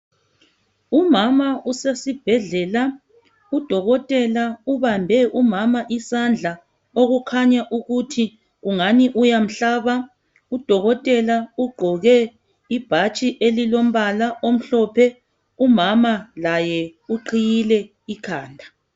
Umama usesibhedlela, udokotela ubambe umama isandla okukhanya ukuthi ungani uyamhlaba. Udokotela ugqoke ibhatshi elilombala omhlophe, umama laye uqhiyile ikhanda.